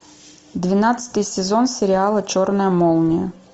двенадцатый сезон сериала черная молния